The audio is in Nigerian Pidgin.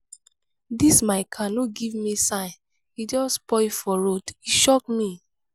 dis my car no give me sign e just spoil for road e shock me.